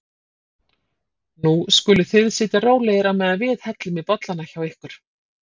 Nú skuluð þið sitja rólegir á meðan við hellum í bollana hjá ykkur.